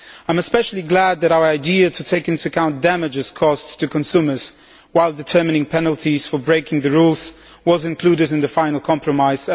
I am especially glad that our idea to take into account damages caused to consumers when determining penalties for breaking the rules was included in the final compromise.